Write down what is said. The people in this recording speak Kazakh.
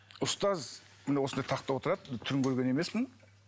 ұстаз міне осындай тақта отырады түрін көрген емеспін